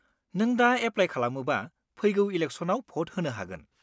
नों दा एप्लाय खालामोबा फैगौ इलेकसनआव भट होनो हागोन।